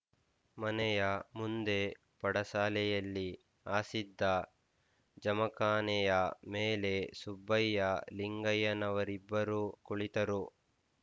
ಮನೆಯ ಮುಂದೆ ಪಡಸಾಲೆಯಲ್ಲಿ ಹಾಸಿದ್ದ ಜಮಖಾನೆಯ ಮೇಲೆ ಸುಬ್ಬಯ್ಯ ಲಿಂಗಯ್ಯನವರಿಬ್ಬರು ಕುಳಿತರು